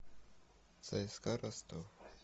цск ростов